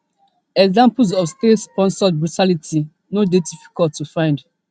examples of statesponsored brutality no dey difficult to find